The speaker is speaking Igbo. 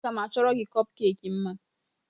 Aga m achọrọ gị kọpkeeki mma.